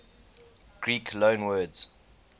greek loanwords